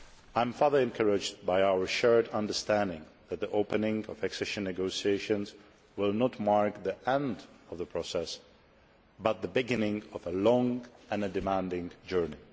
I am further encouraged by our shared understanding that the opening of accession negotiations will not mark the end of a process, but the beginning of a long and demanding journey.